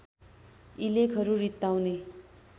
यी लेखहरू रित्ताउने